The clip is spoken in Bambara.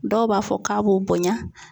Dɔw b'a fɔ k'a b'o bonɲa.